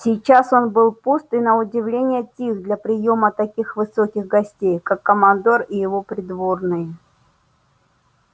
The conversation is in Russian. сейчас он был пуст и на удивление тих для приёма таких высоких гостей как командор и его придворные